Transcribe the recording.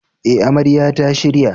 Eh, amarya ta shirya.